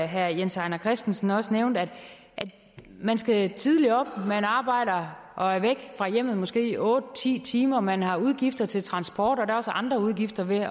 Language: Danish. herre jens ejner christensen også nævnte at man skal tidligt op at man arbejder og er væk fra hjemmet måske i otte ti timer at man har udgifter til transport og at der også er andre udgifter ved at